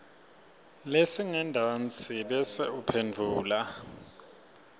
lesingentasi bese uphendvula